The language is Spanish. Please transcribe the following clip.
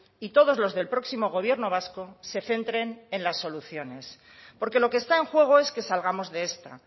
y todos los del próximo gobierno vasco se centren en las soluciones porque lo que está en juego es que salgamos de esta